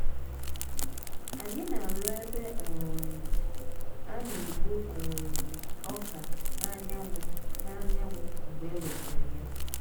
anyị na-arụ ebe um a na-ekpo um ọka n’anyanwụ n’anyanwụ mgbe e wetara ya.